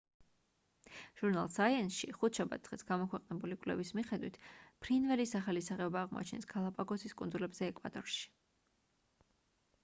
ჟურნალ საიენსში ხუთშაბათ დღეს გამოქვეყნებული კვლევის მიხედვით ფრინველის ახალი სახეობა აღმოაჩინეს გალაპაგოსის კუნძულებზე ეკვადორში